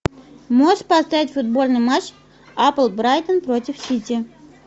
можешь поставить футбольный матч апл брайтон против сити